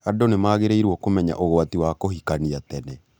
Andũ nĩ magĩrĩirũo kũmenya ũgwati wa kũhikania tene